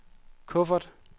kuffert